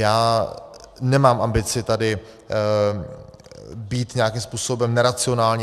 Já nemám ambici být tady nějakým způsobem neracionální.